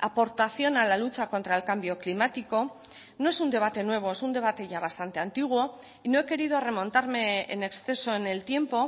aportación a la lucha contra el cambio climático no es un debate nuevo es un debate ya bastante antiguo y no he querido remontarme en exceso en el tiempo